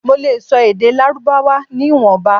Mo le sọ èdè lárúbáwá ni ìwọ̀nba